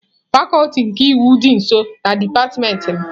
Fakuti nke iwu dị nso na dipatịmentị m.